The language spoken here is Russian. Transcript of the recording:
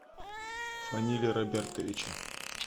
фаниле робертовиче